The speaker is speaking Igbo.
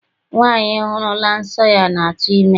Nwaanyị hụrụla nsọ ya ga-atụ ime.